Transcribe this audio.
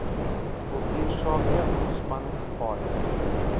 kultuursake ontspanning paaie